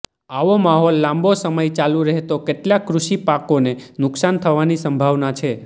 આવો માહોલ લાંબો સમય ચાલુ રહેતો કેટલાક કૃષિપાકોને નુકશાન થવાની સંભાવના છે